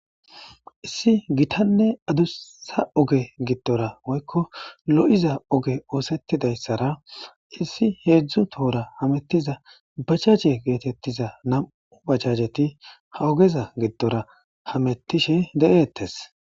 Issi gitanne adussa oge giddora woykko lo7iza oge oosettidayssara issi heedzdzu tohora hamettiza bajaje geetettiza nam7u bachajeti ha ogeza giddora hamettishe de7eettes.